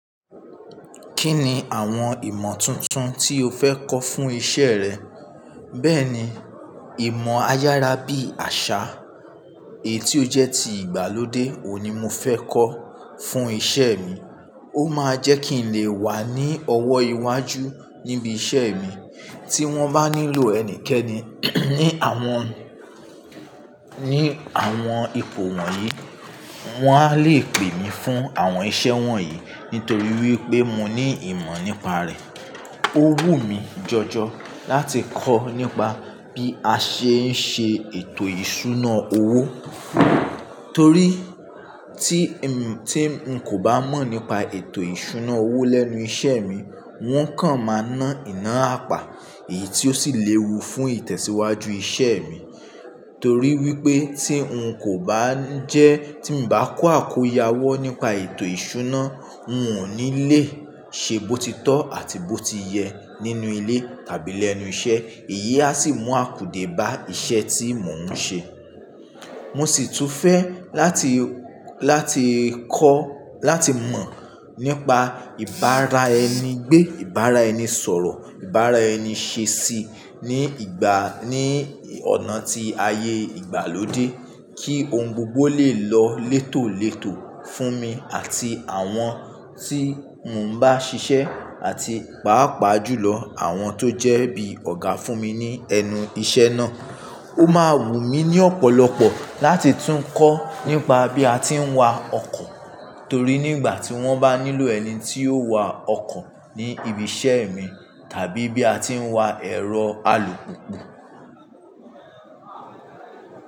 Kí ni àwọn ìmọ̀ tuntun tí o fẹ́ kọ́ fún iṣẹ́ rẹ? Bẹ́ẹ̀ni, ìmọ̀ ayára bí àṣá, èyí tí ó jẹ́ ti ìgbàlódé òun ni mo fẹ́ kọ́ fún iṣẹ́ mi. Ó máa jẹ́ kí n lè wà ní ọwọ́ iwájú níbi iṣẹ́ mi. Tí wọ́n bá nílò ẹnikẹ́ni ní àwọn, ní àwọn ipò wọ̀nyí, wọ́n á lè pè mí fún àwọn iṣẹ́ wọ̀nyí nítorí wípé mo ní ìmọ̀ nípa rẹ̀. Ó wù mí jọjọ láti kọ́ nípa bí a ṣe ń ṣe ètò ìṣúná owó, torí tí—tí n kò bá mọ̀ nípa ètò ìṣúná owó lẹ́nu iṣẹ́ mi, wọ́n kàn máa ná iná àpá, èyí tí ó sì léwu fún ìtẹ̀síwájú iṣẹ́ mi. Torí wípé tí ń kò bá ń jẹ́, tí mi bá kó àkóyawọ́ nípa ètò ìṣúná, ń ò ní lé ṣe bó ti tọ́ àti bó ti yẹ nínú ilé tàbí lẹ́nu iṣẹ́. Èyí á sì mú akùdé bá iṣẹ́ tí mò ń ṣe. Mo sì tún fẹ́ láti, láti kọ́, láti mọ̀ nípa ìbára ẹni gbé, ìbára ẹni sọ̀rọ̀, ìbára ẹni ṣe sí ní ìgbà, ní ọ̀nà tí ayé ìgbàlódé kí ohun gbogbo lè lọ létòletò fún mi àti àwọn tí mò ń bá ṣiṣẹ́ àti pàápàá jùlọ àwọn tó jẹ́ bí ọ̀gá fún mi ní ẹnu iṣẹ́ náà. Ó máa wù mí ní ọ̀pọ̀lọpọ̀ láti tún kọ́ nípa bí a tí ń wa ọkọ̀ torí nígbà tí wọ́n bá nílò ẹni tí yóò wa ọkọ̀ ní ibi iṣẹ́ mi tàbí bí a tí ń wa ẹ̀rọ alùpùpù.